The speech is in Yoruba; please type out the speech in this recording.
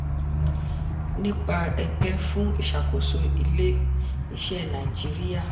nipa ẹgbẹ́ fún ìṣàkóso ilé-iṣẹ́ naijiria